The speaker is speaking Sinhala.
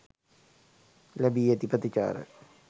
ලැබී ඇති ප්‍රතිචාර